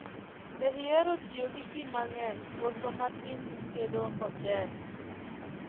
Be ihero tiyo gi pii mang'eny koso matin kitedo ochele?